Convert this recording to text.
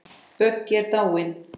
Böggi er dáinn.